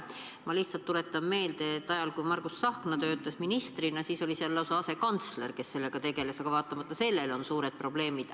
Ma lihtsalt tuletan meelde, et ajal, kui Margus Tsahkna töötas ministrina, oli seal lausa asekantsler, kes sellega tegeles, aga vaatamata sellele on suured probleemid.